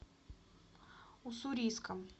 уссурийском